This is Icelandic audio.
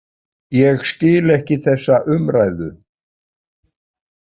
Ég skil ekki þessa umræðu.